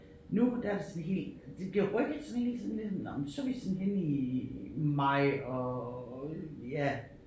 Nu der det sådan helt det bliver rykket sådan hele tiden det nåh men så vi sådan henne i maj og ja